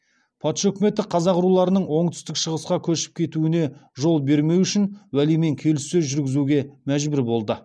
патша өкіметі қазақ руларының оңтүстік шығысқа көшіп кетуіне жол бермеу үшін уәлимен келіссөз жүргізуге мәжбүр болды